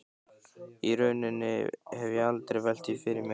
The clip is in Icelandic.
Í rauninni hafði ég aldrei velt því fyrir mér.